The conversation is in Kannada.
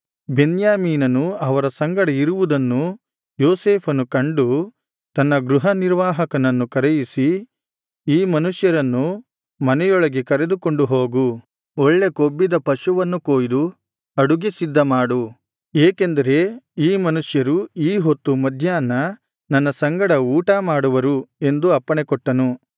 ಬೆನ್ಯಾಮೀನನು ಅವರ ಸಂಗಡ ಇರುವುದನ್ನು ಯೋಸೇಫನು ಕಂಡು ತನ್ನ ಗೃಹನಿರ್ವಾಹಕನನ್ನು ಕರೆಯಿಸಿ ಈ ಮನುಷ್ಯರನ್ನು ಮನೆಯೊಳಗೆ ಕರೆದುಕೊಂಡು ಹೋಗು ಒಳ್ಳೆ ಕೊಬ್ಬಿದ ಪಶುವನ್ನು ಕೊಯ್ದು ಅಡುಗೆ ಸಿದ್ಧಮಾಡು ಏಕೆಂದರೆ ಈ ಮನುಷ್ಯರು ಈ ಹೊತ್ತು ಮಧ್ಯಾಹ್ನ ನನ್ನ ಸಂಗಡ ಊಟ ಮಾಡುವರು ಎಂದು ಅಪ್ಪಣೆಕೊಟ್ಟನು